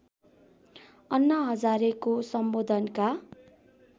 अन्ना हजारेको सम्बोधनका